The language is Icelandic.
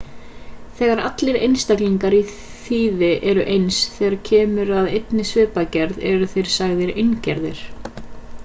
þegar allir einstaklingar í þýði eru eins þegar kemur að einni svipgerð eru þeir sagðir eingerðir